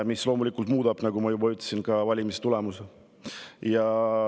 See loomulikult muudab, nagu ma juba ütlesin, valimistulemust.